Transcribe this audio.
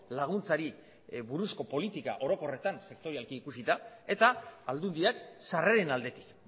laguntzari buruzko politika orokorretan sektorialki ikusita eta aldundiak sarreren aldetik